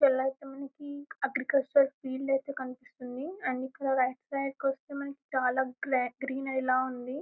ఐతే మనకి agricultural field అయితే కనిపిస్తుంది అండ్ ఇక్కడ లెఫ్ట్ సైడ్ కొస్తే మనకి చాలా గ్లా-గ్రీనరీ లా ఉంది .